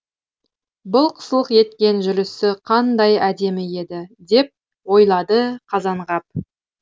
былқ сылқ еткен жүрісі қандай әдемі еді деп ойлады қазанғап